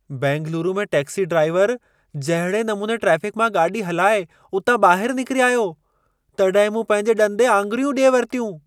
बेंगलुरु में taxi driver जहिड़े नमूने ट्रैफ़िक मां गाॾी हलाए उतां ॿाहिरि निकिरी आयो, तॾहिं मूं पंहिंजे ॾंदें आङुरियूं डि॒ए वरितियूं।